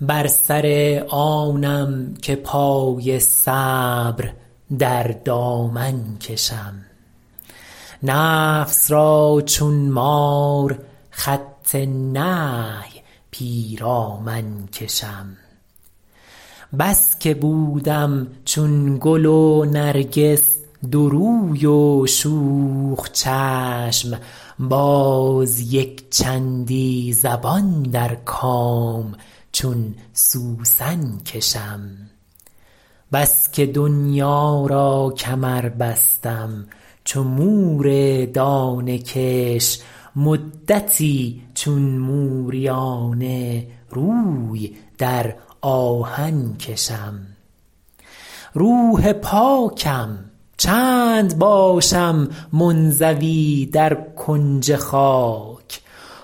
بر سر آنم که پای صبر در دامن کشم نفس را چون مار خط نهی پیرامن کشم بس که بودم چون گل و نرگس دو روی و شوخ چشم باز یکچندی زبان در کام چون سوسن کشم بس که دنیا را کمر بستم چو مور دانه کش مدتی چون موریانه روی در آهن کشم روح پاکم چند باشم منزوی در کنج خاک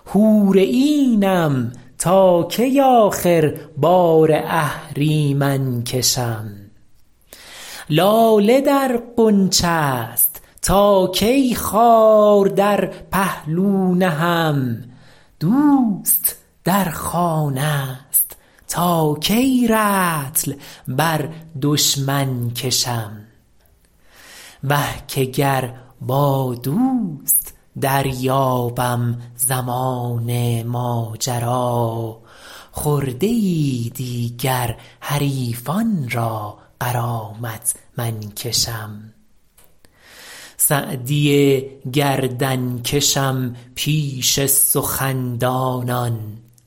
حور عینم تا کی آخر بار اهریمن کشم لاله در غنچه ست تا کی خار در پهلو نهم دوست در خانه ست تا کی رطل بر دشمن کشم وه که گر با دوست دریابم زمان ماجرا خرده ای دیگر حریفان را غرامت من کشم سعدی گردن کشم پیش سخن دانان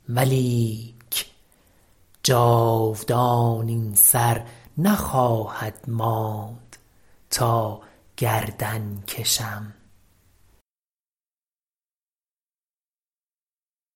ولیک جاودان این سر نخواهد ماند تا گردن کشم